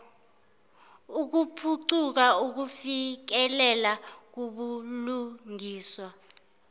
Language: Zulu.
ukuphucuza ukufikelela kubulungiswa